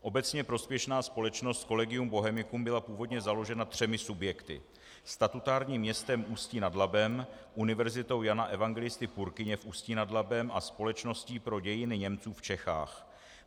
Obecně prospěšná společnost Collegium Bohemicum byla původně založena třemi subjekty - statutárním městem Ústí nad Labem, Univerzitou Jana Evangelisty Purkyně v Ústí nad Labem a Společností pro dějiny Němců v Čechách.